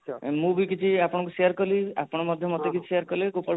ଆଚ୍ଛା ମୁଁ ବି କିଛି ଆପଣଙ୍କୁ share କଲି ଆପଣ ମଧ୍ୟ share କଲି